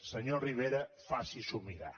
senyor rivera faci s’ho mirar